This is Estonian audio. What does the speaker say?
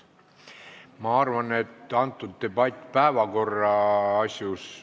Ma arvan, et see debatt ei käi praegu päevakorra asjus.